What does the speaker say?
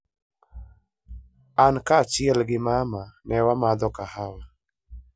An kaachiel gi mama ne wamadhoga kahawa.